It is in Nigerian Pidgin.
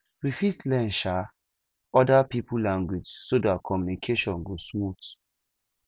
we fit learn um oda pipo language so dat communication go smooth